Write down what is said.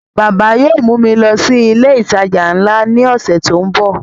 Bàbá yóò mú mi lọ sí ilé ìtajà nla ní ọ̀sẹ̀ tó ń bọ̀